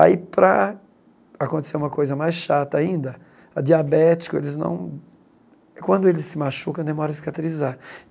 Aí, para acontecer uma coisa mais chata ainda, a diabético, eles não... Quando ele se machuca, demora a cicatrizar.